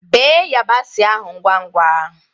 Bee yabasi ahụ ngwa ngwa!